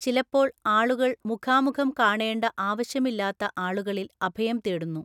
ചിലപ്പോൾ ആളുകൾ മുഖാമുഖം കാണേണ്ട ആവശ്യമില്ലാത്ത ആളുകളിൽ അഭയം തേടുന്നു.